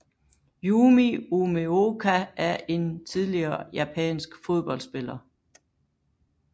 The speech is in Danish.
Yumi Umeoka er en tidligere japansk fodboldspiller